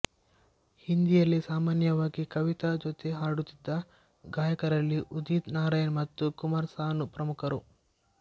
ಹಿಂದಿಯಲ್ಲಿ ಸಾಮಾನ್ಯವಾಗಿ ಕವಿತಾ ಜೊತೆ ಹಾಡುತ್ತಿದ್ದ ಗಾಯಕರಲ್ಲಿ ಉದಿತ್ ನಾರಾಯಣ್ ಮತ್ತು ಕುಮಾರ್ ಸಾನು ಪ್ರಮುಖರು